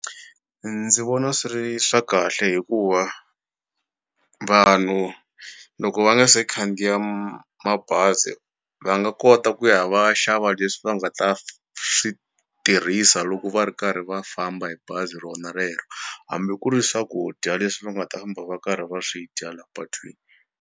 Ndzi vona swi ri swa kahle hikuva vanhu loko va nga se khandziya mabazi va nga kota ku ya va xa va leswi va nga ta swi tirhisa loko va ri karhi va famba hi bazi ro na rero hambi ku ri swakudya leswi va nga ta famba va karhi va swi dya la patwini.